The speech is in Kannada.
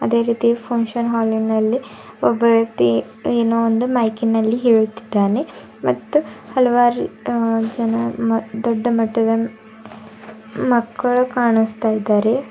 ಅದೇ ರೀತಿ ಫಂಕ್ಷನ್ ಹಾಲ್ ನಲ್ಲಿ ಒಬ್ಬ ವ್ಯಕ್ತಿ ಏನೋ ಒಂದು ಮೈಕ್ ಇನಲ್ಲಿ ಹೇಳುತ್ತಿದ್ದಾನೆ ಮತ್ತು ಹಲವಾರು ಜನ ದೊಡ್ಡಮಟ್ಟದ ಮಕ್ಕಳ ಕಾಣಿಸ್ತಾ ಇದ್ದಾರೆ.